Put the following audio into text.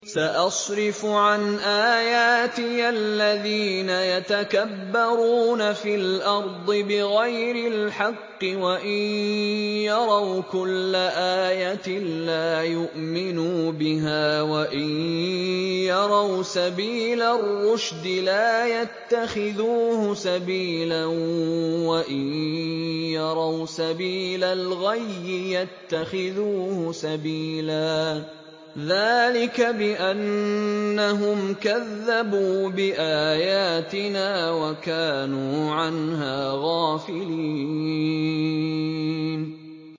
سَأَصْرِفُ عَنْ آيَاتِيَ الَّذِينَ يَتَكَبَّرُونَ فِي الْأَرْضِ بِغَيْرِ الْحَقِّ وَإِن يَرَوْا كُلَّ آيَةٍ لَّا يُؤْمِنُوا بِهَا وَإِن يَرَوْا سَبِيلَ الرُّشْدِ لَا يَتَّخِذُوهُ سَبِيلًا وَإِن يَرَوْا سَبِيلَ الْغَيِّ يَتَّخِذُوهُ سَبِيلًا ۚ ذَٰلِكَ بِأَنَّهُمْ كَذَّبُوا بِآيَاتِنَا وَكَانُوا عَنْهَا غَافِلِينَ